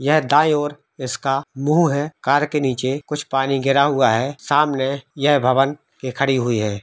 यह दाई और इसका मुँह है कार के निचे कुछ पानी गिरा हुआ है सामने ये भवन के खड़ी हुई है।